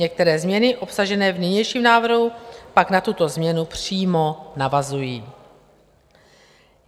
Některé změny obsažené v nynějším návrhu pak na tuto změnu přímo navazují.